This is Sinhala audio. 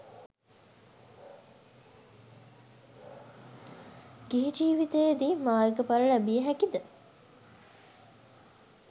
ගිහි ජීවිතයේ දී මාර්ගඵල ලැබිය හැකිද